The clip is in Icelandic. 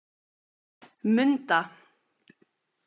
Munda